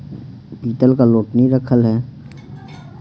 पीतल का लोटनी रखल है।